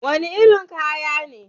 Wani irin kaya ne wannan?